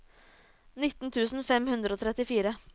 nitten tusen fem hundre og trettifire